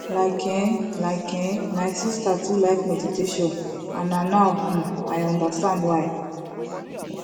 like eh like eh my sister too like meditation and na now um i understand why